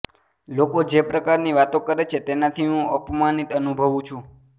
લોકો જે પ્રકારની વાતો કરે છે તેનાથી હું અપમાનિત અનુભવું છું